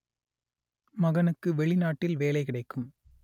மகனுக்கு வெளிநாட்டில் வேலை கிடைக்கும்